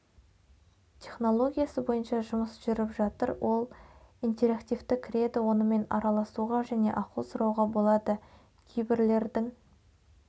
технологиясы бойынша жұмыс жүріп жатыр ол интерактивты кіреді онымен араласуға және ақыл сұрауға болады кейбірелердің